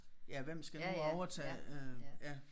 Ja hvem skal nu overtage øh ja